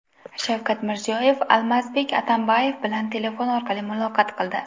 Shavkat Mirziyoyev Almazbek Atamboyev bilan telefon orqali muloqot qildi.